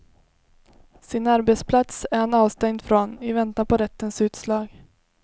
Sin arbetsplats är han avstängd från i väntan på rättens utslag.